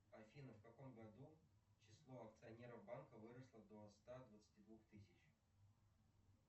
афина в каком году число акционеров банка выросло до ста двадцати двух тысяч